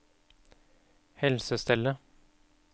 helsestellet